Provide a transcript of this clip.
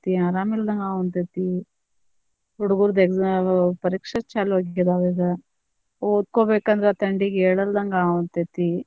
ಆರಾಮ ಇಲ್ಲದಂಗ್ ಆಗವಂತೇತಿ ಹುಡುಗುರದ exam ಪರೀಕ್ಷೆ ಚಾಲು ಆಗಿದಾವ್ ಈಗ ಓದ್ಕೊಬೇಕ್ ಅಂದ್ರ ತಂಡಿಗ ಏಳುಲದ್ದಂಗ ಆಗವಂತೇತಿ.